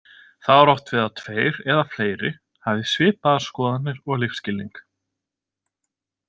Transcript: Þá er átt við tveir eða fleiri hafi svipaðar skoðanir og lífsskilning.